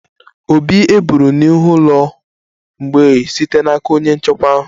Obi eburu n'ihu ụlọ mgbei site n'aka onye nchekwa ahụ